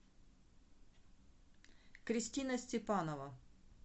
кристина степанова